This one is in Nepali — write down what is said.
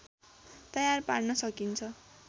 तयार पार्न सकिन्छ